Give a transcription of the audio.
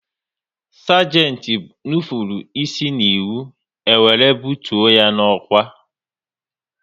Sagenti nupụrụ isi n'iwu, e were bụtuo ya n'ọkwá